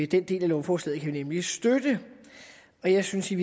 den del af lovforslaget kan vi nemlig støtte jeg synes i